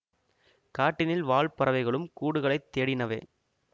காட்டினில் வாழ் பறவைகளும் கூடுகளைத் தேடினவே